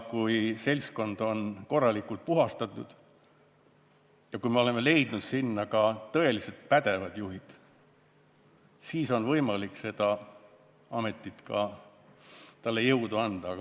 Kui seltskond on korralikult puhastatud ja me oleme leidnud sinna tõeliselt pädevad juhid, siis on võimalik sellele ametile ka jõudu juurde anda.